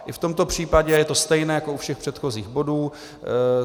I v tomto případě je to stejné jako u všech předchozích bodů.